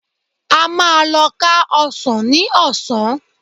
A máa lọ ká ọsàn ní ọ̀sán